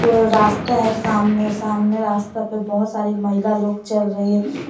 वो रास्ता है सामने सामने रास्ता पे बहुत सारी महिला लोग चल रही हैं